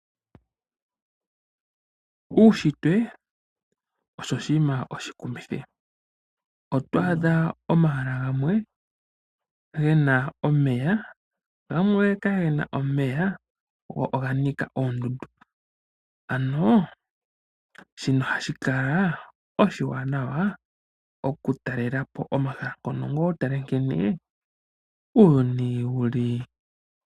Uushitwe osho oshinima oshikumithi, oto adha omahala gamwe ge na omeya, gamwe kage na omeya go oga nika oondundu, ano shino ohashi kala oshiwanawa oku talelapo omahala ngono ngoye utale nkene uuyuni wu li.